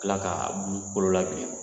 Kila ka bulu kɔlɔla bilen.